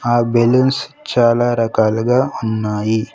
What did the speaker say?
ఆ బెలూన్స్ చాలా రకాలుగా ఉన్నాయి.